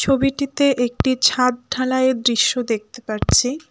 ছবিটিতে একটি ছাদ ঢালাইয়ের দৃশ্য দেখতে পারছি।